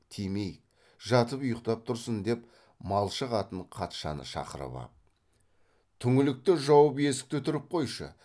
тимейік жатып ұйқтап тұрсын деп малшы қатын қатшаны шақырып ап түңлікті жауып есікті түріп қойшы